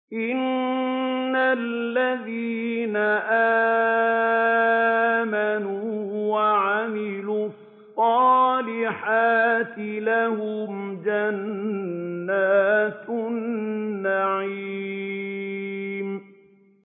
إِنَّ الَّذِينَ آمَنُوا وَعَمِلُوا الصَّالِحَاتِ لَهُمْ جَنَّاتُ النَّعِيمِ